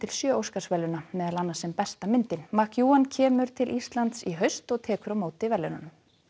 sjö Óskarsverðlauna meðal annars sem besta myndin kemur til Íslands í haust og tekur á móti verðlaununum